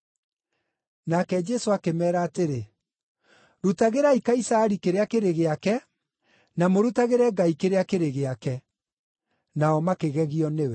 Nake Jesũ akĩmeera atĩrĩ, “Rutagĩrai Kaisari kĩrĩa kĩrĩ gĩake, na mũrutagĩre Ngai kĩrĩa kĩrĩ gĩake.” Nao makĩgegio nĩwe.